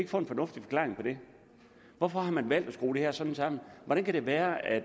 få en fornuftig forklaring på det hvorfor har man valgt at skrue det her sådan sammen hvordan kan det være at